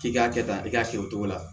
K'i k'a kɛ tan i k'a kɛ o cogo la